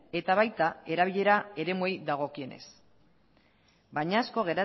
eta baita erabilera eremuei dagokienez baina asko